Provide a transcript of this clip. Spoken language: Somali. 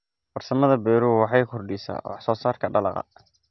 Farsamada beeruhu waxay kordhisaa wax soo saarka dalagga.